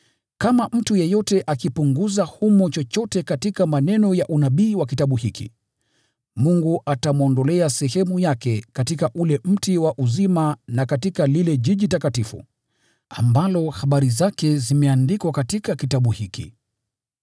Kama mtu yeyote akipunguza humo chochote katika maneno ya unabii wa kitabu hiki, Mungu atamwondolea sehemu yake katika ule mti wa uzima na katika ule mji mtakatifu, ambao habari zake zimeandikwa katika kitabu hiki.